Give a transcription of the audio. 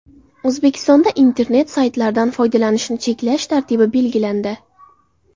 O‘zbekistonda internet saytlaridan foydalanishni cheklash tartibi belgilandi.